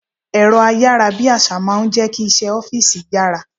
Èrọ ayárabíàṣá máa ń jẹ́ kí iṣẹ́ ọ́fíìsì yára.